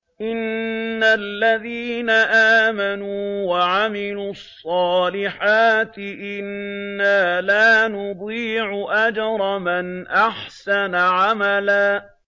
إِنَّ الَّذِينَ آمَنُوا وَعَمِلُوا الصَّالِحَاتِ إِنَّا لَا نُضِيعُ أَجْرَ مَنْ أَحْسَنَ عَمَلًا